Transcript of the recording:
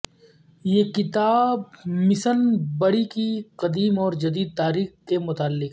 یہ کتاب مسن بڑی کی قدیم اور جدید تاریخ کے متعلق ہے